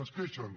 es queixen